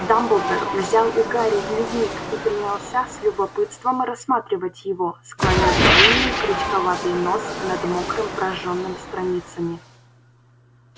дамблдор взял у гарри дневник и принялся с любопытством рассматривать его склонив длинный крючковатый нос над мокрым прожжённым страницами